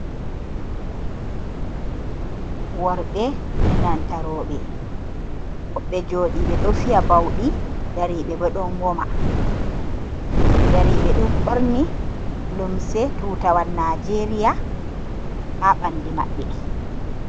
Worɓe e nanta roɓe woɓɓe joɗiɓe ɗo fiya bauɗi ndariɓe, bo ɗon woma ndariɓe ɗon ɓorni limse tutawal nijeria ha ɓalli maɓɓe.